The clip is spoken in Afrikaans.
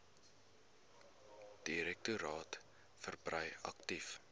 direktoraat verbrei aktief